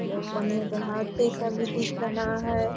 यह पनिया जहाज पे ही खाली दिख रहा है।